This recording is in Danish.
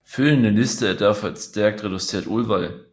Følgende liste er derfor et stærkt reduceret udvalg